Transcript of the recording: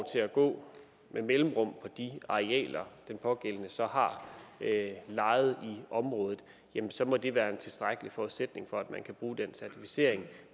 til at gå med mellemrum på de arealer den pågældende så har lejet i området jamen så må det være en tilstrækkelig forudsætning for at man kan bruge den certificering